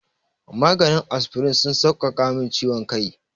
Maganin asfirin sun sauƙaƙa min ciwon kai.